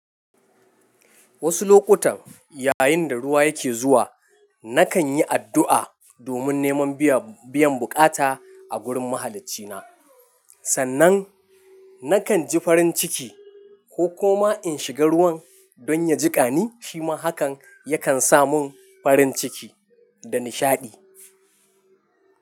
Wasu lokutan yayin da ruwa yake zuwa, nakan yi addu’a domin neman biya-biyan buƙata a gurin mahalaccina. Sannan nakan ji farin ciki ko koma in shiga ruwan don ya jiƙani, shi ma hakan yakan sa mun farin ciki da nishaɗi.